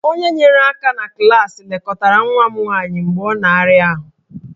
Onye nyere aka na klaasị lekọtara nwa m nwanyị mgbe ọ na-arịa ọrịa